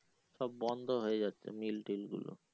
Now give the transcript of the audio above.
সব বন্ধ হয়ে যাচ্ছে mill টিল গুলো